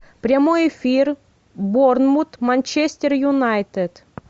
прямой эфир борнмут манчестер юнайтед